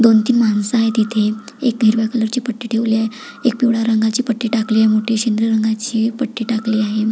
दोन तीन माणस आहेत इथे एक हिरव्या कलर ची पट्टी ठेवली आहे एक पिवळ्या रंगाची पट्टी टाकली आहे मोठी रंगाची पट्टी टाकली आहे.